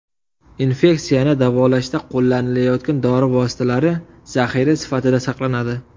Infeksiyani davolashda qo‘llanilayotgan dori vositalari zaxira sifatida saqlanadi.